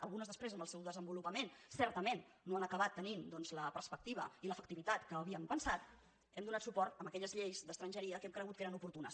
algunes després en el seu desenvolupament certament no han acabat tenint doncs la perspectiva i l’efectivitat que havíem pensat hem donat suport a aquelles lleis d’estrangeria que hem cregut que eren oportunes